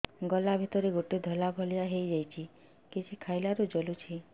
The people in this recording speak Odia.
ଗଳା ଭିତରେ ଗୋଟେ ଧଳା ଭଳିଆ ହେଇ ଯାଇଛି କିଛି ଖାଇଲାରୁ ଜଳୁଛି